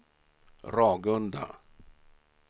Ragunda